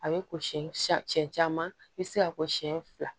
A bɛ ko siɲɛ siɲɛ siɲɛ caman i bɛ se ka ko siɲɛ fila